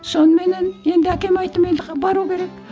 соныменен енді әкеме айттым енді бару керек